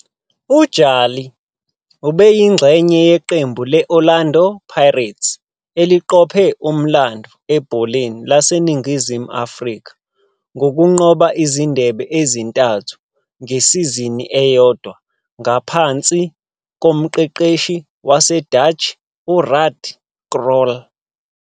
UJali ubeyingxenye yeqembu le- Orlando Pirates eliqophe umlando ebholeni laseNingizimu Afrika ngokunqoba izindebe ezintathu ngesizini eyodwa ngaphansi komqeqeshi waseDutch uRuud Krol.